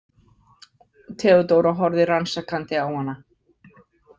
Theodóra horfði rannsakandi á hana.